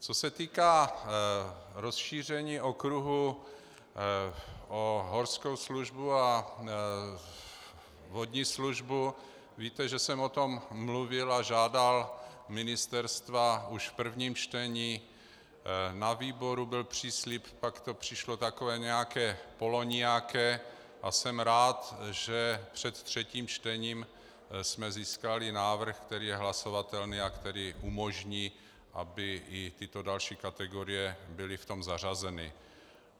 Co se týká rozšíření okruhu o horskou službu a vodní službu, víte, že jsem o tom mluvil a žádal ministerstva už v prvním čtení, na výboru byl příslib, pak to přišlo takové nějaké polonijaké a jsem rád, že před třetím čtením jsme získali návrh, který je hlasovatelný a který umožní, aby i tyto další kategorie byly v tom zařazeny.